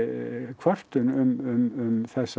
kvörtun um þessa